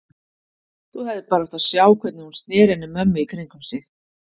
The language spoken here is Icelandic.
Þú hefðir bara átt að sjá hvernig hún sneri henni mömmu í kringum sig.